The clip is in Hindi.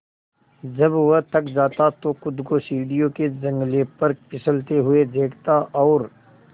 जब वह थक जाता तो खुद को सीढ़ियों के जंगले पर फिसलते हुए देखता और